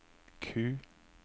Q